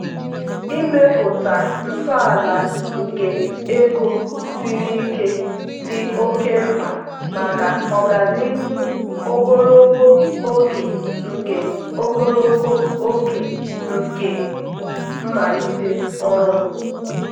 ịmepụta ntọala nke ego siri ike dị oke mkpa maka ọganihu ogologo oge nke ogologo oge nke mmalite ọrụ m.